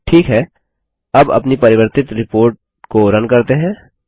ठीक है अब अपनी परिवर्तित रिपोर्ट को रन करते हैं